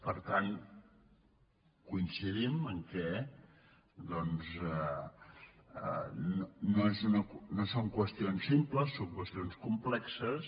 per tant coincidim en el fet que doncs no són qües· tions simples són qüestions complexes